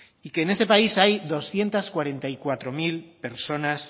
y que en este país hay doscientos cuarenta y cuatro mil personas